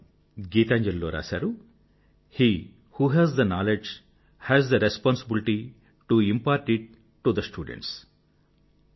వారు గీతాంజలి లో రాశారు he who has the knowledge has the responsibility to impart it to the students